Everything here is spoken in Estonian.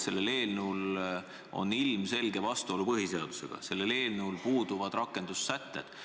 See eelnõu on ilmselges vastuolus põhiseadusega ja sellel eelnõul puuduvad rakendussätted.